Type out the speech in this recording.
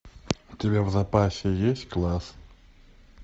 у тебя в запасе есть класс